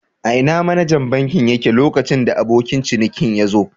Ina manajan bankin yake lokacin da abokin cinikin yazo?.